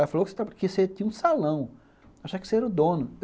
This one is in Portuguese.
Ela falou que você tinha um salão, achar que você era o dono.